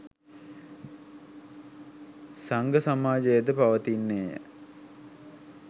සංඝ සමාජය ද පවතින්නේ ය.